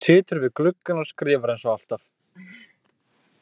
Situr við gluggann og skrifar eins og alltaf.